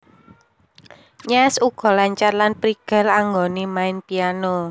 Nyash uga lancar lan prigel anggonè main Piano